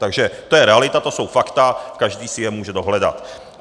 Takže to je realita, to jsou fakta, každý si je může dohledat.